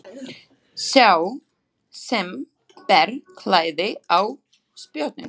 Sá sem ber klæði á spjótin.